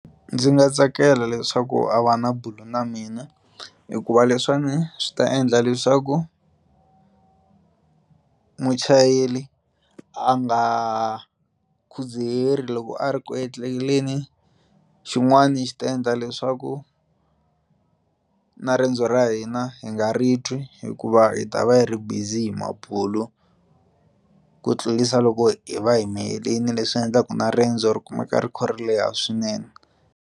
Ndzi nga tsakela leswaku a va na na mina hikuva leswiwani swi ta endla leswaku muchayeri a nga khudzaheli loko a ri ku endleleni xin'wani xi ta endla leswaku na riendzo ra hina hi nga ri twi hikuva hi ta va hi ri busy hi mabulo ku tlurisa loko hi va hi miyelini leswi nga endlaku na riendzo ri kumeka ri kha ri leha swinene.